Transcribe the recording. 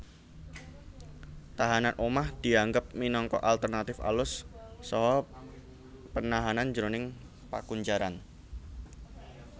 Tahanan omah dianggep minangka alternatif alus saka penahanan jroning pakunjaran